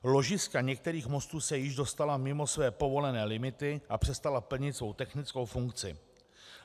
Ložiska některých mostů se již dostala mimo své povolené limity a přestala plnit svou technickou funkci.